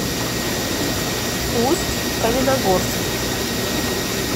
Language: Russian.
усть каменогорск